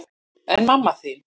En mamma þín?